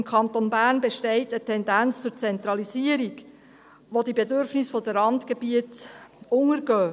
Im Kanton Bern besteht eine Tendenz zur Zentralisierung, bei der die Bedürfnisse der Randgebiete untergehen.